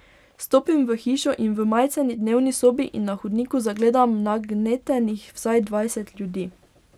Stopim v hišo in v majceni dnevni sobi in na hodniku zagledam nagnetenih vsaj dvajset ljudi.